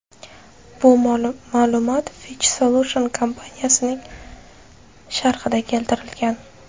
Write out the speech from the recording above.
Bu ma’lumot Fitch Solutions kompaniyasining sharhida keltirilgan.